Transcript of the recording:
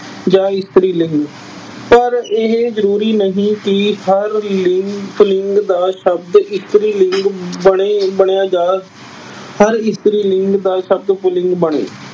ਜਾਂ ਇਸਤਰੀ ਲਿੰਗ। ਪਰ ਇਹ ਜ਼ਰੂਰੀ ਨਹੀਂ ਕਿ ਹਰ ਲਿੰਗ, ਪੁਲਿੰਗ ਦਾ ਸ਼ਬਦ ਇਸਤਰੀ ਲਿੰਗ ਬਣੇ ਅਹ ਬਣਿਆ ਜਾਂ ਹਰ ਇਸਤਰੀ ਲਿੰਗ ਦਾ ਸ਼ਬਦ ਪੁਲਿੰਗ ਬਣੇ।